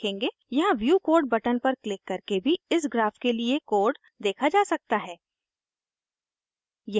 यहाँ view code button पर click करके भी इस ग्राफ के लिए कोड देखा जा सकता है